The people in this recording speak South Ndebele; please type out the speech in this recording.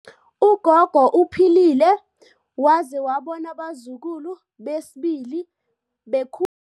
Ugogo uphilile waze wabona abazukulu besibili bekhu